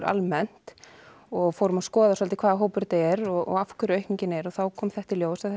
almennt og fórum að skoða svolítið hvaða hópur þetta er og af hverju aukningin er og þá kom þetta í ljós að